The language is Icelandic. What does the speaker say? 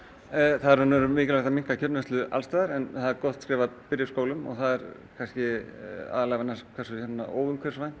það er í rauninni mikilvægt að minnka kjötneyslu alls staðar en það er gott skref að byrja í skólum og það er kannski aðallega vegna hversu óumhverfisvænt